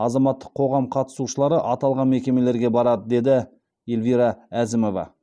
азаматтық қоғам қатысушылары аталған мекемелерге барады деді эльвира әзімова